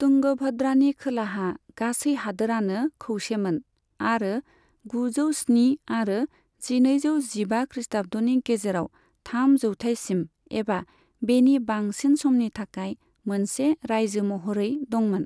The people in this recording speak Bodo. तुंगभद्रानि खोलाहा गासै हादोरानो खौसेमोन आरो गुजौ स्नि आरो जिनैजौ जिबा खृष्टाब्दनि गेजेराव थाम जौथाइसिम एबा बेनि बांसिन समनि थाखाय मोनसे रायजो महरै दंमोन।